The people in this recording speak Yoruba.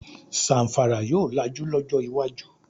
Zamfara yóò lajú lọjọ iwájú